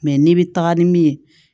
Mɛ n'i bi taga ni min ye